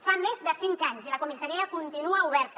fa més de cinc anys i la comissaria continua oberta